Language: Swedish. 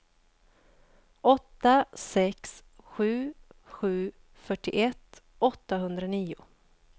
åtta sex sju sju fyrtioett åttahundranio